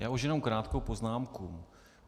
Já už jenom krátkou poznámku.